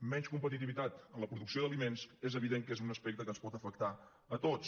menys competitivitat en la producció d’aliments és evident que és un aspecte que ens pot afectar a tots